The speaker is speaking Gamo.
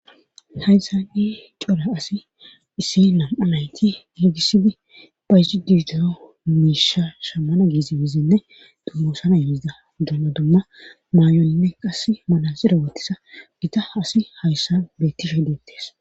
hayssa ni cora asi issi lam7a nayti yiigissidi bayi diidero miisha shammana giizi gizinne dummoosana yeizida dumma dumma maay7oninne qass malasira wottisa gita asi hayssan beettisha hideettes